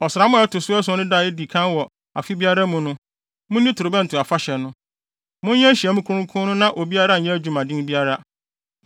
“ ‘Ɔsram a ɛto so ason no da a edi kan wɔ afe biara mu no, munni torobɛnto afahyɛ no. Monyɛ nhyiamu kronkron no na obiara nyɛ adwumaden biara.